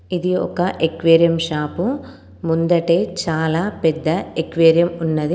ఇది ఒక aquarium shop ముందటె చాలా పెద్ద ఎక్వేరియం ఉన్నది.